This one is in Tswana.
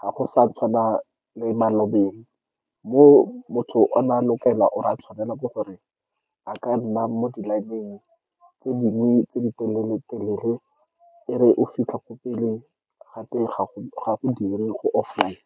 Ga go sa tshwana le malobeng, mo motho o ne a tshwanela ke gore a nne mo di-line-eng tse dingwe tse ditelele-telele, e re o fitlha ko pele, gate, ga go dire go offline.